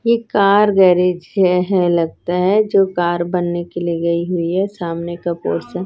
एक car garage है है लगता है जो कार बनने के लिए गई हुई है सामने का पोर्शन --